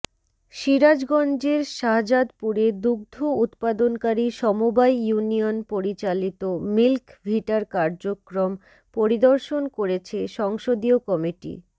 সিরাজগঞ্জের শাহজাদপুরে দুগ্ধ উৎপাদনকারী সমবায় ইউনিয়ন পরিচালিত মিল্ক ভিটার কার্যক্রম পরিদর্শন করেছে সংসদীয় কমিটি